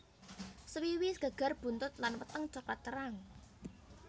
Swiwi geger buntut lan weteng coklat terang